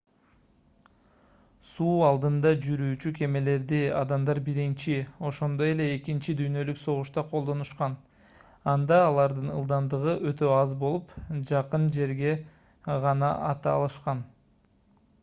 суу алдында жүрүүчү кемелерди адамдар биринчи ошондой эле экинчи дүйнөлүк согушта колдонушкан анда алардын ылдамдыгы өтө аз болуп жакын жерге гана ата алышкан